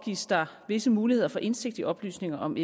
gives der visse muligheder for indsigt i oplysninger om